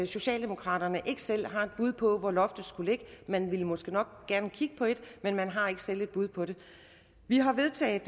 socialdemokraterne ikke selv har et bud på hvor loftet skulle ligge man vil måske nok gerne kigge på et men man har ikke selv et bud på det vi har vedtaget